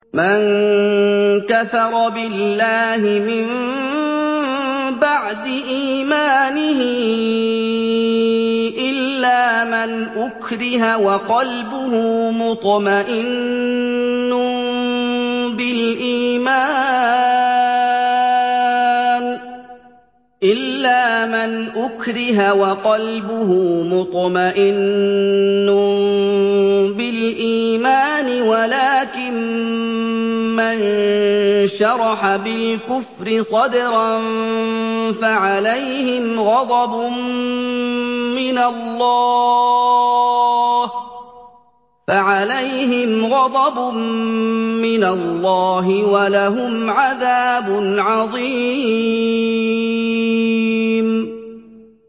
مَن كَفَرَ بِاللَّهِ مِن بَعْدِ إِيمَانِهِ إِلَّا مَنْ أُكْرِهَ وَقَلْبُهُ مُطْمَئِنٌّ بِالْإِيمَانِ وَلَٰكِن مَّن شَرَحَ بِالْكُفْرِ صَدْرًا فَعَلَيْهِمْ غَضَبٌ مِّنَ اللَّهِ وَلَهُمْ عَذَابٌ عَظِيمٌ